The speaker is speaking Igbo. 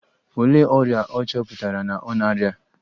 Olee ọrịa a chọpụtara na ọ na -arịa?